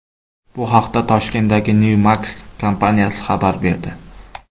Bu haqda Toshkentdagi Newmax kompaniyasi xabar berdi.